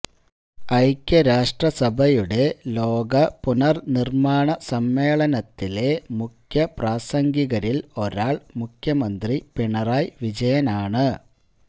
ഐക്യരാഷ്ട്ര സഭയുടെ ലോക പുനര്നിര്മ്മാണ സമ്മേളനത്തിലെ മുഖ്യപ്രാസംഗികരില് ഒരാള് മുഖ്യമന്ത്രി പിണറായി വിജയനാണ്